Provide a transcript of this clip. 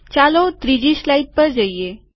ચાલો ત્રીજી સ્લાઇડ પર જઈએ